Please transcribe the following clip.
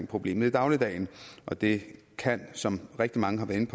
problemet i dagligdagen det kan som rigtig mange har været